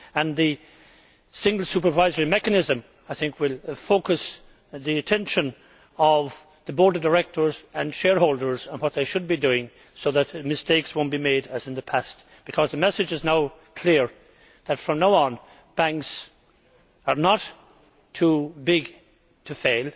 The single supervisory mechanism, I think, will focus the attention of the board of directors and shareholders on what they should be doing so that mistakes will not be made as in the past, because the message is now clear that, from now on, banks are not too big to fail.